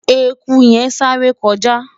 ẹkú yen sááre kọjá